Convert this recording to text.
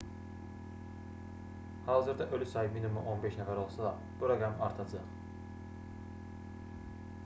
hazırda ölü sayı minimum 15 nəfər olsa da bu rəqəm artacaq